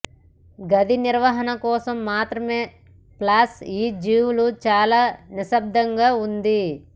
గది నిర్వహణ కోసం మాత్రమే ప్లస్ ఈ జీవుల చాలా నిశ్శబ్దంగా ఉంది